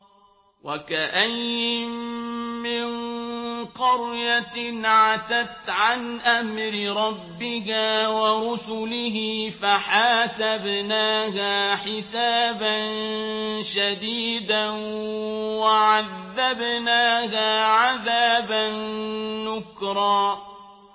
وَكَأَيِّن مِّن قَرْيَةٍ عَتَتْ عَنْ أَمْرِ رَبِّهَا وَرُسُلِهِ فَحَاسَبْنَاهَا حِسَابًا شَدِيدًا وَعَذَّبْنَاهَا عَذَابًا نُّكْرًا